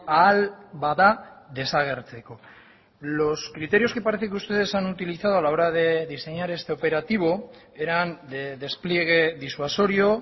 ahal bada desagertzeko los criterios que parece que ustedes han utilizado a la hora de diseñar este operativo eran de despliegue disuasorio